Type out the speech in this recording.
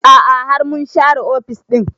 A'a har mun share ofis ɗin